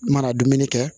N mana dumuni kɛ